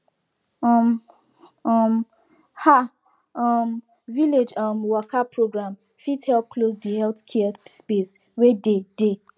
um um ah um village um waka program fit help close de healthcare space wey dey dey